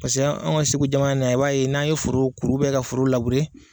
Paseke an ka SEGU jamana na i b'a ye n'an ye foro kuru ka foro .